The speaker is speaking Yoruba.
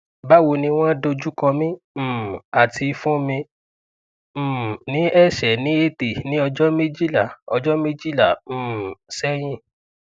bawo ni won dojukomi um ati fun mi um ni ese ni ete ni ojo mejila ojo mejila um sehin